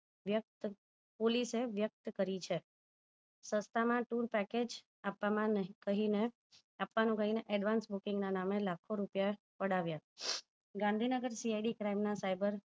વ્યક્ત police વ્યક્ત કરી છે સસ્તાં માં tour package આપવામાં કહીને આપવાનું કહીને advance booking ના નામે લાખો રૂપિયા પડાવ્યા ગાંધીનગર CID crime ના